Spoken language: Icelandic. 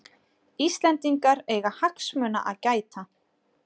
Íslendingar eiga hagsmuna að gæta